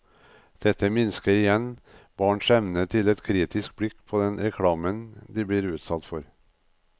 Dette minsker igjen barns evne til et kritisk blikk på den reklamen de blir utsatt for.